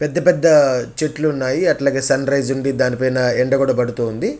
పెద్ద పెద్ద చెట్లున్నాయి అట్లాగే సన్ రిసె ఉంది దాని పైన ఎండా కూడా పడుతూ ఉంది.